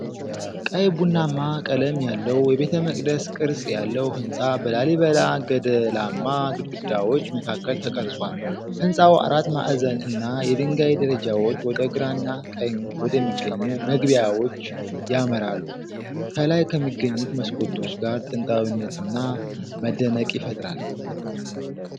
ቀይ ቡናማ ቀለም ያለው የቤተመቅደስ ቅርጽ ያለው ህንጻ በላሊበላ ገደላማ ግድግዳዎች መካከል ተቀርጿል። ህንጻው አራት ማዕዘን እና የድንጋይ ደረጃዎች ወደ ግራና ቀኝ ወደሚገኙ መግቢያዎች ያመራሉ። ከላይ ከሚገኙት መስኮቶች ጋር ጥንታዊነትና መደነቅ ይፈጥራል።